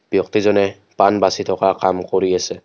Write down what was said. ব্যক্তিজনে পাণ বাচি থকা কাম কৰি আছে।